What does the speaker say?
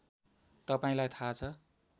तपाईँलाई थाहा छ